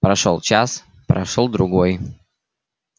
прошёл час прошёл другой